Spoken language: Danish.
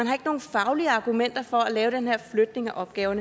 har nogen faglige argumenter for at lave den her flytning af opgaver